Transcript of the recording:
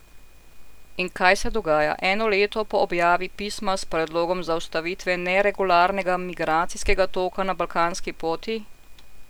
In kaj se dogaja eno leto po objavi Pisma s predlogom zaustavitve neregularnega migracijskega toka na balkanski poti?